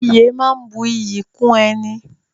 Ìyè máa ń bu iyì kún ẹni